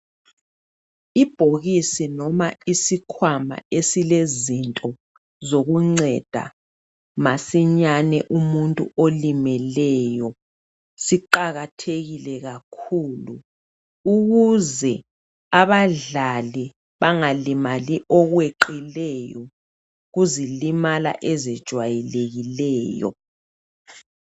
Ibhokisi noma isikhwama esilezinto zokunceda masinyane umuntu olimeleyo. Siqakathekile kakhulu ukuze abadlali bangalimali okweqileyo kuzilimala ezijwalekileyo.